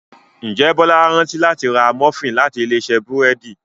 njé Bola rántí láti rà Múfìn láti Ilé-iṣẹ́ búrẹ́d